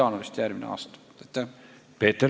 Aitäh, hea juhataja!